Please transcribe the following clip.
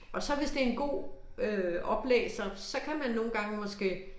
Og så hvis det en god øh oplæser så kan man nogle gange måske